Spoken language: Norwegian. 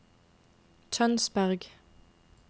Tønsberg